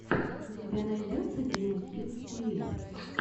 у тебя найдется дима кидс ти ви